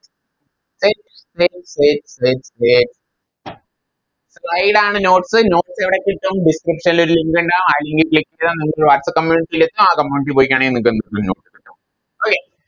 Wait wait wait wait wait slide ആണ് Notes notes എവിടെ കിട്ടും Description ല് ഒര് Link ഇണ്ടാവും ആ Link ൽ Click ചെയ്ത നിങ്ങൾക്ക് Whatsapp community എത്തും ആ Community ല് പോയികഴിഞ്ഞ notes കിട്ടും Okay